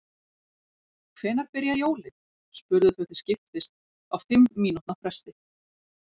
Hvenær byrja jólin? spurðu þau til skiptist á fimm mínútna fresti.